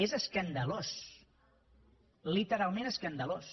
és escandalós literalment escandalós